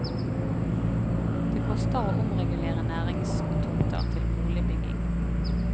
Det koster å omregulere næringstomter til boligbygging.